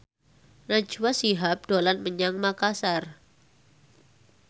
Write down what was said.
Najwa Shihab dolan menyang Makasar